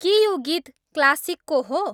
के यो गीत क्लासिकको हो